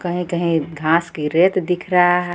कहीं कहीं घास की रेत दिख रहा है।